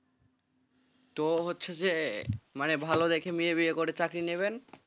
তো হচ্ছে যে মানে ভালো দেখে মেয়ে বিয়ে করে চাকরি নেবেন,